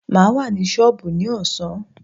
Maa wà ní sọọbù ní ọ̀sán.